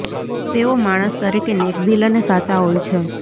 તેઓ માણસ તરીકે નેકદિલ અને સાચા હોય છે